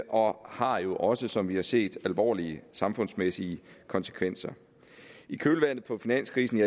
og har jo også som vi har set alvorlige samfundsmæssige konsekvenser i kølvandet på finanskrisen